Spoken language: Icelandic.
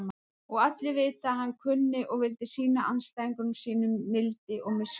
Og allir vita að hann kunni og vildi sýna andstæðingum sínum mildi og miskunn.